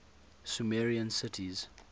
sumerian cities